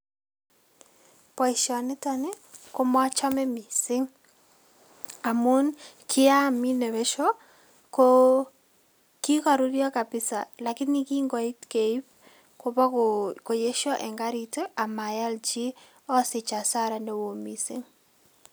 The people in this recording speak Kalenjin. Boisioniton ii, ko mochome mising amun kiamine besio ko kikaruryo kabisa lakini kingoit keip kobo koyeiso eng garit ii ,amayal chi asich hasara nee oo mising.